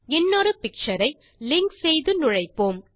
இன்னொரு பிக்சர் ஐlink செய்து நுழைப்போம்